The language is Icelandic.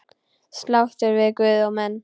Sáttur við guð og menn.